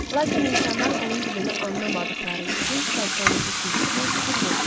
Lakin insanlar onun dilini anlamadıqları üçün sərçənin cikkiltisinə fikir vermirlər.